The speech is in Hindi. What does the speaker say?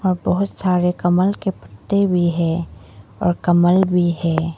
बहुत सारे कमल के पत्ते भी है और कमल भी है।